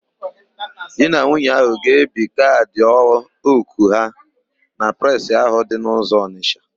Di na nwunye áhụ̀ ga-ebi kaadị òkù ha na Presị ahụ dị n'ụzọ Ọnịsha.